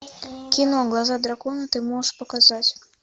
кино глаза дракона ты можешь показать